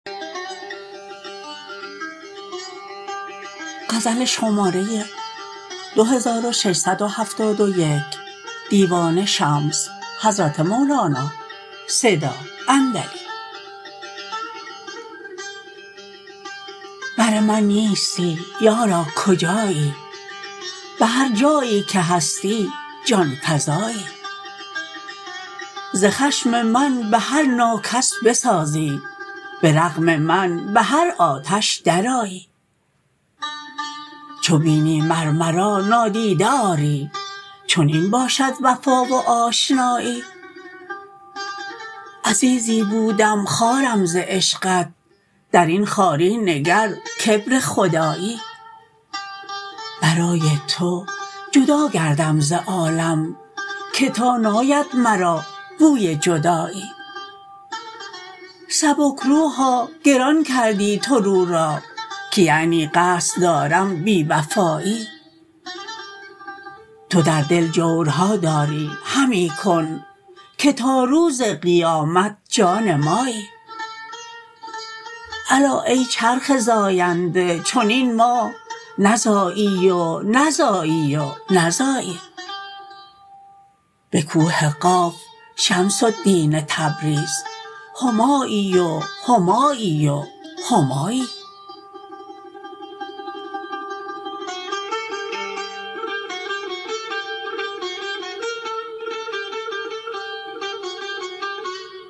بر من نیستی یارا کجایی به هر جایی که هستی جان فزایی ز خشم من به هر ناکس بسازی به رغم من به هر آتش درآیی چو بینی مر مرا نادیده آری چنین باشد وفا و آشنایی عزیزی بودم خوارم ز عشقت در این خواری نگر کبر خدایی برای تو جدا گردم ز عالم که تا ناید مرا بوی جدایی سبک روحا گران کردی تو رو را که یعنی قصد دارم بی وفایی تو در دل جورها داری همی کن که تا روز قیامت جان مایی الا ای چرخ زاینده چنین ماه نزایی و نزایی و نزایی به کوه قاف شمس الدین تبریز همایی و همایی و همایی